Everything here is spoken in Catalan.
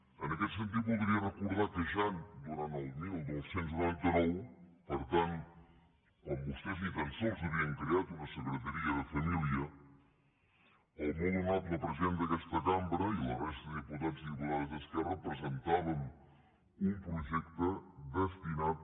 en aquest sentit voldria recordar que ja durant el dinou noranta nou per tant quan vostès ni tan sols havien creat una secretaria de família el molt honorable president d’aquesta cambra i la resta de diputats i diputades d’esquerra presentàvem un projecte destinat